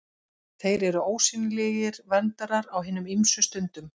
Þeir eru ósýnilegir verndarar á hinum ýmsu stundum.